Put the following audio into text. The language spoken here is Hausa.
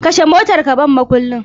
Kashe motar ka ban mukullin